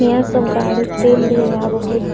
ईहाँ सब गाड़ी तेल लेव आवा हय |